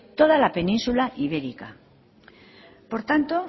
toda la península ibérica por tanto